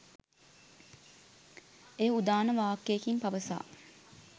එය උදාන වාක්‍යයකින් පවසා